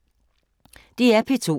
DR P2